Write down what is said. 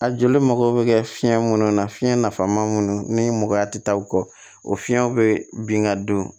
A joli mago bɛ kɛ fiɲɛ minnu na fiɲɛ nafama minnu ni mɔgɔya tɛ taa u kɔ o fiɲɛw be bin ka don